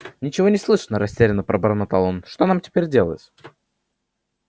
ничего не слышно растерянно пробормотал он что нам теперь делать